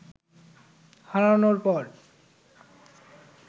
হারানোর পর